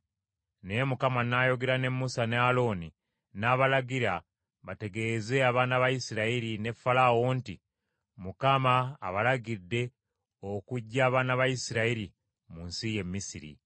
Naye Mukama n’ayogera ne Musa ne Alooni, n’abalagira bategeeze abaana ba Isirayiri ne Falaawo nti, Mukama abalagidde okuggya abaana ba Isirayiri mu nsi y’e Misiri.